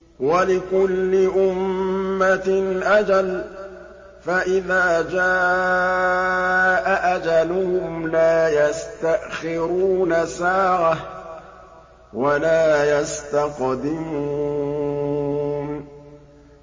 وَلِكُلِّ أُمَّةٍ أَجَلٌ ۖ فَإِذَا جَاءَ أَجَلُهُمْ لَا يَسْتَأْخِرُونَ سَاعَةً ۖ وَلَا يَسْتَقْدِمُونَ